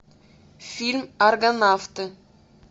фильм аргонавты